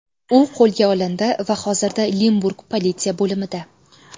U qo‘lga olindi va hozirda Limburg politsiya bo‘limida.